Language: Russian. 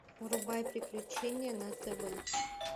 врубай приключения на тв